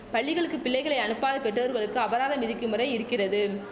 பள்ளிகளுக்கு பிள்ளைகளை அனுப்பாத பெற்றோர்களுக்கு அபராதம் விதிக்கும் முறை இருக்கிறது